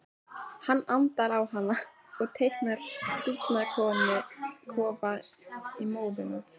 Hann andar á hana og teiknar dúfnakofa í móðuna.